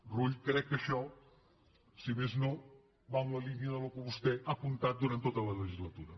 rull crec que això si més no va en la línia del que vostè ha apuntat durant tota la legislatura